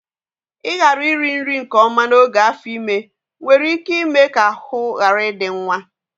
Ịghara iri nri nke ọma n'oge afọ ime nwere ike ime ka ahụ ghara ịdị nwa